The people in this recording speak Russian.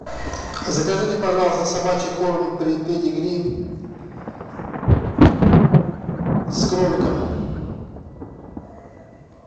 закажите пожалуйста собачий корм педигри с кроликом